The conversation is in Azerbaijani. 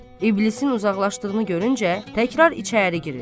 İblisin uzaqlaşdığını görüncə təkrar içəri girir.